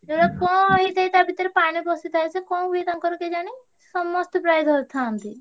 ଇଏ କଣ ହେଇଥାଇ ତା ଭିତରେ ପାଣି ପସିଥାଇ ସେ କଣ ହୁଏ ତାଙ୍କର କେଜାଣି ସମସ୍ତେ ପ୍ରାୟ ଧରିଥାନ୍ତି।